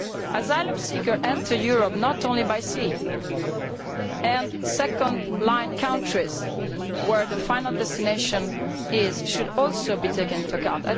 Asylum seekers enter Europe not only by sea, and second line countries where their final destination is should also be taken into account.